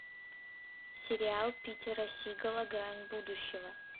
сериал питера сигала грань будущего